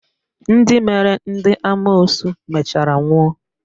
Ndị mere ndị amoosu mechara nwụọ